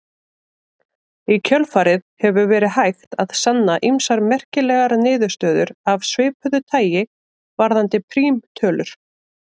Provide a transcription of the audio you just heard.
Í kjölfarið hefur verið hægt að sanna ýmsar merkilegar niðurstöður af svipuðu tagi varðandi prímtölur.